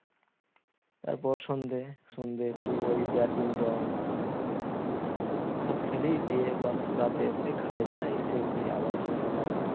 তারপর সন্ধ্যে সন্ধ্যে ওই একটুও ব্যাডমিন্টন এসব খেলি দিয়ে বাস রাতে এসে খায় দায় শুয়ে পড়ি আবার সে সকালে